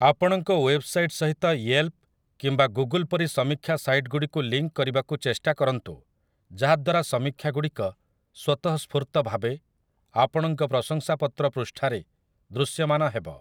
ଆପଣଙ୍କ ୱେବ୍‌ସାଇଟ୍‌ ସହିତ ୟେଲ୍‌ପ୍‌ କିମ୍ବା ଗୁଗୁଲ୍ ପରି ସମୀକ୍ଷା ସାଇଟ୍‌ଗୁଡ଼ିକୁ ଲିଙ୍କ୍ କରିବାକୁ ଚେଷ୍ଟା କରନ୍ତୁ ଯାହା ଦ୍ୱାରା ସମୀକ୍ଷାଗୁଡ଼ିକ ସ୍ୱତଃସ୍ଫୂର୍ତ୍ତ ଭାବେ ଆପଣଙ୍କ ପ୍ରଶଂସାପତ୍ର ପୃଷ୍ଠାରେ ଦୃଶ୍ୟମାନ ହେବ ।